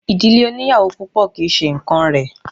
Ìdílé oníyàwò púpọ̀ kì í ṣe nǹkán rẹ̀.